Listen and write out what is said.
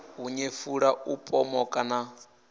u nyefula u pomoka na